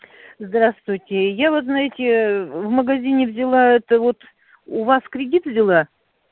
здравствуйте я вот знаете в магазине взяла это вот у вас кредит взяла